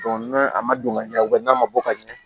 n'a ma don ka ɲɛ n'a ma bɔ ka ɲɛ